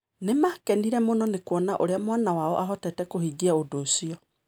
Nĩ maakenire mũno nĩ kuona ũrĩa mwana wao aahotete kũhingia ũndũ ũcio.